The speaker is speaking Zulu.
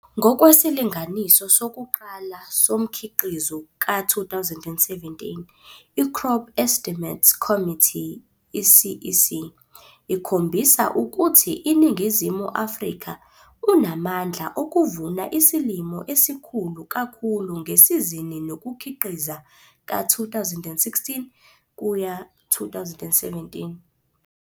Ngokwesilinganiso sokuqala somkhiqizo ka-2017, i-Crop Estimates Committee, i-CEC, ikhombisa ukuthi iNingizimu Afrika unamandla okuvuna isilimo esikhulu kakhulu ngesizini nokukhiqiza ka-2016 kuya 2017.